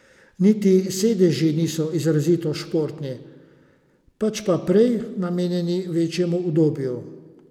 Niti sedeži niso izrazito športni, pač pa prej namenjeni večjemu udobju.